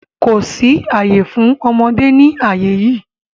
Kò sí àyè fún ọmọdé ní àyè yí!